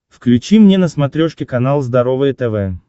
включи мне на смотрешке канал здоровое тв